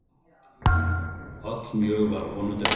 Allmjög var af honum dregið.